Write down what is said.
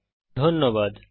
অংশগ্রহনের জন্য ধন্যবাদ